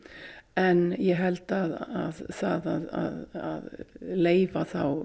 en ég held að það að leyfa þá